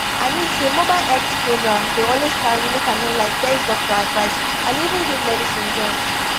i mean say mobile health program dey always carry make i no lie test doctor advice and even give medicine join